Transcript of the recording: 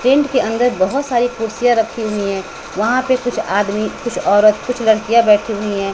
Tent के अंदर बहोत सारी कुर्सियां रखी हुई है वहां पे कुछ आदमी कुछ औरत कुछ लड़कियां बैठी हुई है।